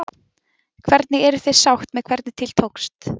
Hvernig, eruð þið sátt með hvernig til tókst?